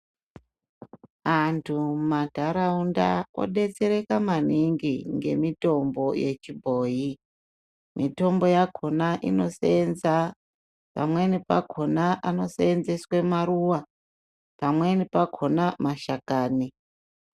Antu mumandarawunda kodetsereka maningi ngemitombo yechibhoyi. Mitombo yakhona inosenza pamweni pakhona anosenzeswe maruwa, pamweni pakhona mashakani.